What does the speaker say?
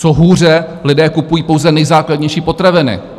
Co hůře, lidé kupují pouze nejzákladnější potraviny.